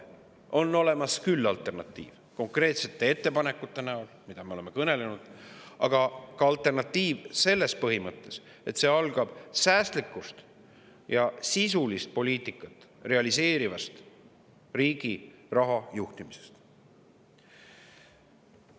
On olemas alternatiiv konkreetsete ettepanekute näol, millest me oleme kõnelenud, aga ka alternatiiv selles põhimõttes, et see algab säästlikust ja sisulist poliitikat realiseerivast raha juhtimisest riigis.